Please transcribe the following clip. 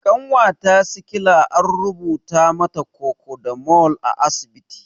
Ƙanwata sikila an rubuta mata kokodamol a asibiti